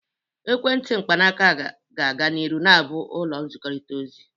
Ekwentị mkpanaaka ga-aga n'ihu na-abụ ụzọ nzikọrịta ozi.